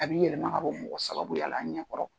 A b'i yɛlɛma ka bɔ mɔgɔ sababuya la a ɲɛ kɔrɔ.